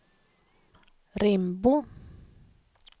Rimbo